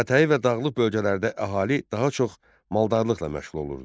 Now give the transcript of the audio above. Dağətəyi və dağlıq bölgələrdə əhali daha çox maldarlıqla məşğul olurdu.